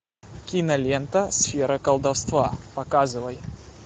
кинолента сфера колдовства показывай